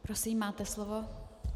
Prosím, máte slovo.